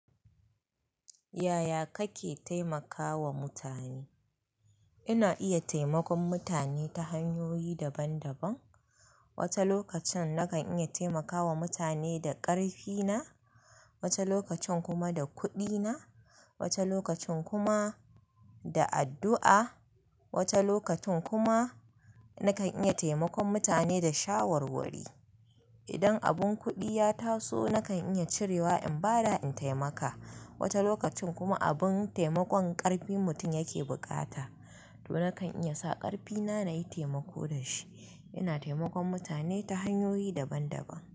Yaya kake taimakawa mutane? Ina iya taimakon mutane ta hanyoyi daban daban. Wata lokacin nakan iya taimakawa mutane da ƙarfina, wata lokacin kuma da kuɗina, wata lokacin kuma da addu'a, wata lokacin kuma nakan iya taimakon mutane da shawarwari. Idan abun kuɗi ya taso, nakan iya cirewa in bada in taimaka. Wata lokacin kuma abun taimakon ƙarfin mutum yake bukata, to nakan iya sa ƙarfina nayi taimako da shi. Ina taimakon mutane ta hanyoyi daban daban.